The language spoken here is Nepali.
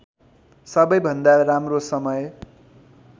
सबैभन्दा राम्रो समय